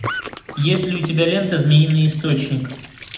есть ли у тебя лента змеиный источник